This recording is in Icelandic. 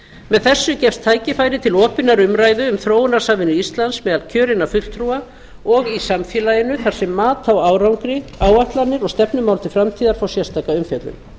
með þessu gefst tækifæri til opinnar umræðu um þróunarsamvinnu íslands meðal kjörinna fulltrúa og í samfélaginu þar sem mat á árangri áætlanir og stefnumál til framtíðar fá sérstaka umfjöllun